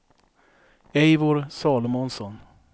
Eivor Salomonsson